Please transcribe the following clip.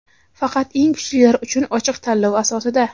Faqat eng kuchlilar uchun ochiq tanlov asosida.